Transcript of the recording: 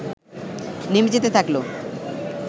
নেমে যেতে থাকল